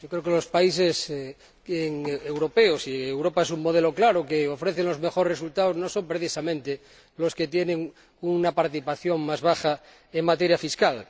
Creo que los países europeos y Europa es un modelo claro que ofrece los mejores resultados no son precisamente los que tienen una participación más baja en materia fiscal.